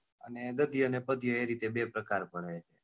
અને ગદ્ય અને પદ્ય એ રીતે બે પ્રકાર પડે છે.